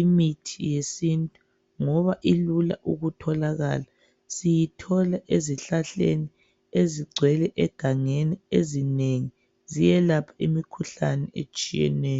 imithi yesintu ngoba ilula ukutholakala. Siyithola ezihlahleni ezigcwele egangeni ezinengi ziyelapha imikhuhlane etshiyeneyo.